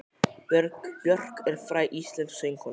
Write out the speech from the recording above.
Björk er fræg íslensk söngkona.